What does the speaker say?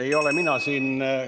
Ei ole mina siin ...